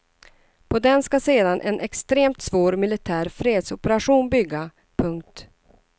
På den ska sedan en extremt svår militär fredsoperation bygga. punkt